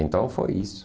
Então, foi isso.